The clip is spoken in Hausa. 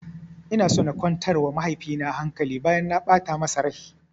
Ina so na kwantar wa mahaifi na hankali bayan na ɓata masa rai